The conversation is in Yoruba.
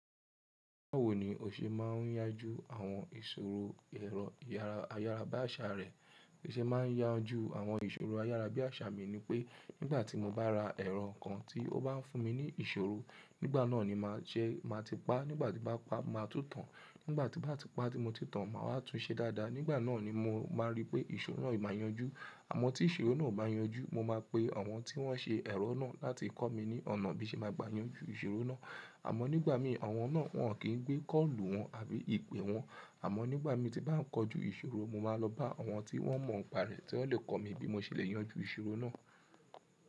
Báwo ni o ṣe máa ń yanjú àwọn ìṣòro ẹ̀rọ ayárabíàṣá rẹ? Bí ń ṣe máa ń yanjú àwọn ìṣòro ayárá bí àṣá mi ni pé nígbà tí mo bá ra ẹ̀rọ kan tí ó bá ń fún mi ní ìṣòro, nígbà náà ni má jẹ má tí pa, nígbà tí bá pa má tútàn. Nígbà tí bá ti pá tí mo ti tàn máa wá tún un ṣe dáadáa. Nígbà náà ni mo máa rí pé ìṣòro náà má yanjú. Àmọ́ tí ìṣòro náà ò bá yanjú, mo máa pe àwọn tí wọ́n ṣe ẹ̀rọ náà láti kọ́ mi ní ọ̀nà bí ṣe máa gbà yanjú ìṣòro náà. Àmọ́ nígbà mí àwọn náà wọ́n kì í gbé kọ́ọ̀lù wọn àbí ìpè wọn. Àmọ́ nígbà mi tí bá ń kojú ìṣòro, mo máa lọ bá àwọn tí wọ́n mọ̀ ọ́n pa rẹ̀ tí wọ́n lè kọ́ mi bí mo ṣe le yanjú ìṣòro náà.